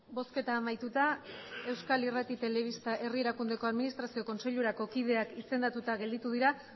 bosketa amaituta euskal irrati telebista herrieraku administrazio kontseilurako kideak izandatuta gelditu dira